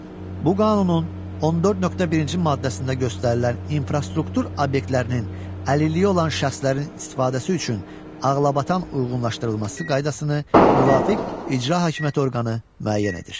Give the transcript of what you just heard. Bu qanunun 14.1-ci maddəsində göstərilən infrastruktur obyektlərinin əlilliyi olan şəxslərin istifadəsi üçün ağlabatan uyğunlaşdırılması qaydasını müvafiq icra hakimiyyəti orqanı müəyyən edir.